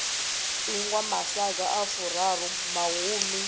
ingwa masaga a furaru mahumi